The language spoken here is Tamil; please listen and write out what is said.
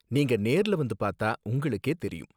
நீங்க நேர்ல வந்து பார்த்தா உங்களுக்கே தெரியும்.